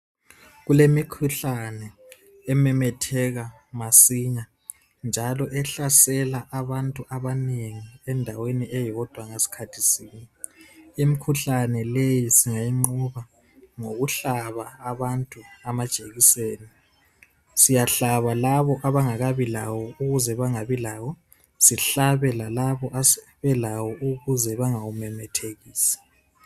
Kulemikhuhlane ememetheka masinya njalo ehlasela abantu abanengi endaweni eyodwa ngesikhathi sinye. Imikhuhlane leyi singayinqoba ngokuhlaba abantu amajekiseni. Siyahlaba labo aabaangakabi layo ukuze bengabi lawo siphinde sihlabe lalabo asebelawo ukuze bengawumemethekisi.